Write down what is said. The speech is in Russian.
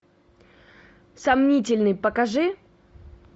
сомнительный покажи